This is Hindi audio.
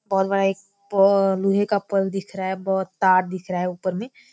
बहुत बड़ा एक पो लोहे का पोल दिख रहा है बहुत तार दिख रहा है ऊपर में--